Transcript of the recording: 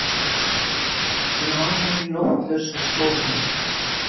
Lafir í nóttlausri stofu.